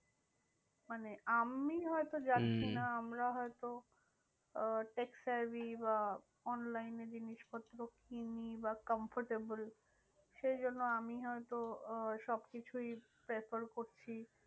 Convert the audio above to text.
মানে আমি হয়তো যাচ্ছি না হম আমরা হয়তো আহ বা online এ জিনিসপত্র কিনি বা comfortable সেই জন্য আমি হয়তো আহ সবকিছুই prefer করছি।